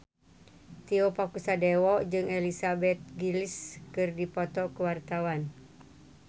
Tio Pakusadewo jeung Elizabeth Gillies keur dipoto ku wartawan